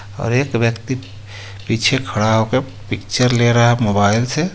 ओर एक व्यक्ति पीछे खड़ा होके पिक्चर ले रहा है मोबाइल से.